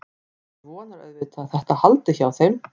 Maður vonar auðvitað að þetta haldi hjá þeim.